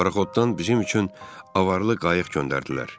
Paraxoddan bizim üçün avarlı qayıq göndərdilər.